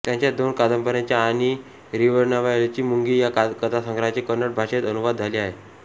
त्यांच्या दोन कादंबऱ्यांचे आणि रिवणावायली मुंगी या कथासंग्रहाचे कन्नड भाषेत अनुवाद झाले आहेत